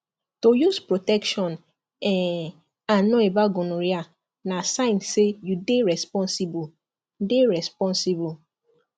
to use protection um and know about gonorrhea na sign say you dey responsible dey responsible